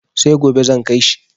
Sai gobe zan kai shi.